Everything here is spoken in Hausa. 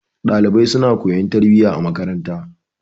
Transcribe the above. Ɗalibai suna koyon tarbiyya a makaranta.